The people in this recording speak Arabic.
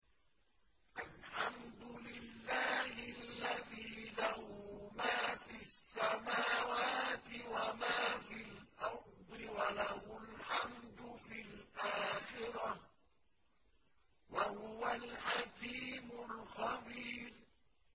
الْحَمْدُ لِلَّهِ الَّذِي لَهُ مَا فِي السَّمَاوَاتِ وَمَا فِي الْأَرْضِ وَلَهُ الْحَمْدُ فِي الْآخِرَةِ ۚ وَهُوَ الْحَكِيمُ الْخَبِيرُ